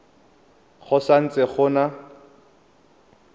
go sa ntse go na